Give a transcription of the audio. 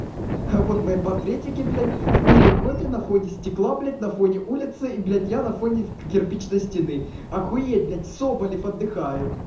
а вот мои портретники блять в переходе на фоне стекла блять на фоне улицы и блять я на фоне кирпичной стены охуеть блять соболев отдыхает